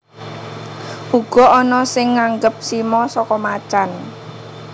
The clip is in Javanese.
Uga ana sing nganggep simo saka macan